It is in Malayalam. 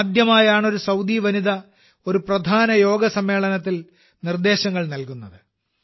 ഇതാദ്യമായാണ് ഒരു സൌദി വനിത ഒരു പ്രധാന യോഗ സമ്മേളനത്തിൽ നിർദ്ദേശങ്ങൾ നൽകുന്നത്